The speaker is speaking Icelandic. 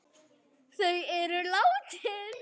Þau eru látin.